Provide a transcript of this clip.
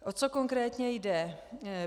O co konkrétně jde?